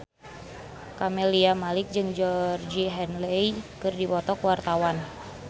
Camelia Malik jeung Georgie Henley keur dipoto ku wartawan